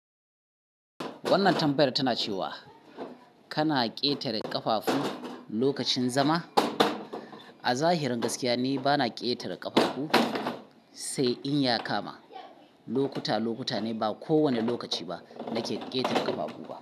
Wannan tambayar tana cewa kana ƙetare ƙafafu lokacin zama? A zahirin gaskiya, ni bana ƙetare ƙafafu, sai in ya kama. Lokuta lokuta ne, ba kowanne lokaci ba nake ƙetare ƙafafu ba.